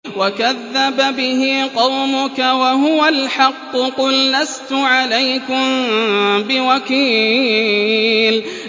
وَكَذَّبَ بِهِ قَوْمُكَ وَهُوَ الْحَقُّ ۚ قُل لَّسْتُ عَلَيْكُم بِوَكِيلٍ